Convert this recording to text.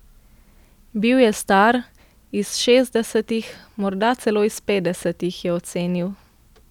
Bil je star, iz šestdesetih, morda celo iz petdesetih, je ocenil.